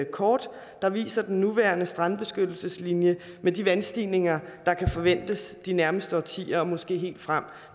kort der viser den nuværende strandbeskyttelseslinje og så de vandstigninger der kan forventes de nærmeste årtier måske helt frem